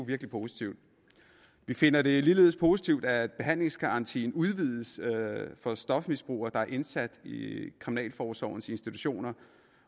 virkelig positivt vi finder det ligeledes positivt at behandlingsgarantien udvides for stofmisbrugere der er indsat i kriminalforsorgens institutioner